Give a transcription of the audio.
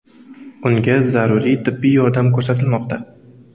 Unga zaruriy tibbiy yordam ko‘rsatilmoqda.